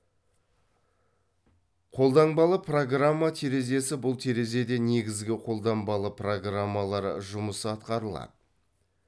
қолданбалы программа терезесі бұл терезеде негізгі қолданбалы программалар жұмысы атқарылады